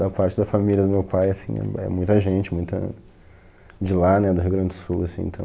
Da parte da família do meu pai, assim, é é muita gente, muita de lá, né, do Rio Grande do Sul, assim, então...